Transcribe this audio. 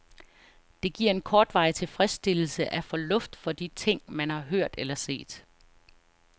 Det giver en kortvarig tilfredsstillelse at få luft for de ting, man har hørt eller set.